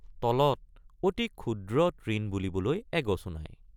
তলত অতি ক্ষুদ্ৰ তৃণ বুলিবলৈ এগছো নাই।